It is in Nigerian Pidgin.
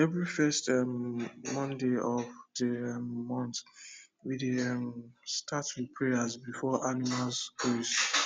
every first um monday of the um month we dey um start with prayer before animals graze